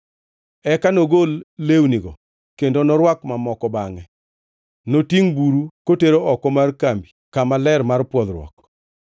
Eka nogol lewnigo kendo norwak mamoko, bangʼe notingʼ buru kotero oko mar kambi kama ler mar pwodhruok.